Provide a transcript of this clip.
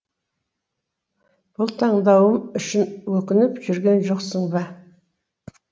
бұл таңдауым үшін өкініп жүрген жоқсың ба